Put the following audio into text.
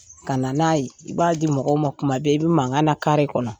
Ka na n'a ye i b'a di mɔgɔw ma kuma bɛɛ i bɛ mankan na kare kɔnɔ.